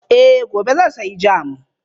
Eh gobe zan sayi jam.